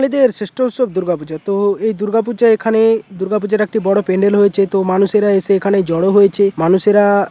দের শেষ্ঠ উৎসব দূর্গাপুজো তো এই দুর্গাপূজা এখানে দুর্গাপূজার একটি বড় প্যান্ডেল হয়েছে তো মানুষেরা এসে এখানে জড়ো হয়েছে মানুষেরা--